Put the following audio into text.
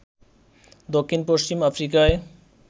দক্ষিণ পশ্চিম আফ্রিকায়